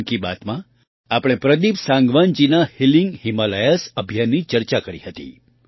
મન કી બાતમાં આપણે પ્રદીપ સાંગવાનજીના હીલિંગ હિમાલયાઝ અભિયાનની ચર્ચા કરી હતી